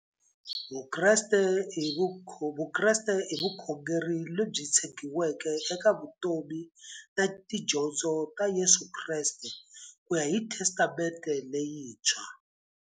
Vukreste i vukhongeri lebyi tshegiweke eka vutomi na tidyondzo ta Yesu Kreste kuya hi Testamente leyintshwa.